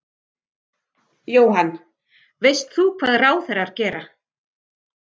Jóhann: Veist þú hvað ráðherrar gera?